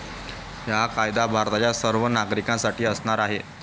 हा कायदा भारताच्या सर्व नागरिकांसाठी असणार आहे